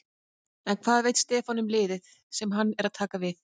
En hvað veit Stefán um liðið sem hann er að taka við?